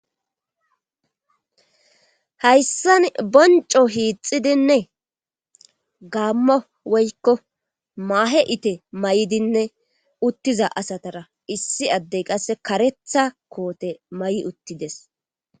hayssan boncco hiixxidinne gaaamo woykko maahe itte mayidinne utiza asatara issi adde qas kareththa koote mayi uttides.